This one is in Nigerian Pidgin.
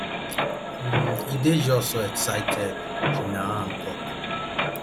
um e dey just so exciting jinna han tok